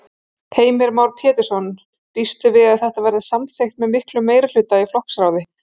Heimir Már Pétursson: Býstu við að þetta verði samþykkt með miklum meirihluta í flokksráði?